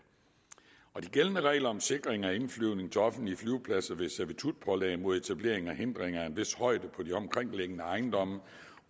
på de gældende regler om sikring af indflyvning til offentlige flyvepladser ved servitutpålæg mod etablering af hindringer af en vis højde på de omkringliggende ejendomme